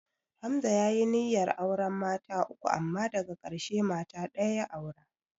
Hamza ya yi niyyar auren mata uku amma daka ƙarshe mata ɗaya ya aura